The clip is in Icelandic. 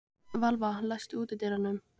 Valva, læstu útidyrunum.